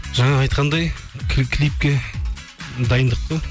жаңа айтқандай клипке дайындық қой